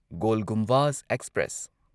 goal Gumbaz express